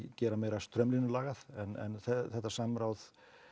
gera meira straumlínulagað en þetta samráð